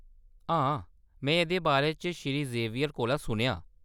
हां, में एह्‌‌‌दे बारे च श्री ज़ेवियर कोला सुनेआ।